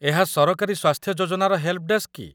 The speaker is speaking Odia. ଏହା ସରକାରୀ ସ୍ୱାସ୍ଥ୍ୟ ଯୋଜନାର ହେଲ୍‌ପ୍‌ଡେସ୍କ କି?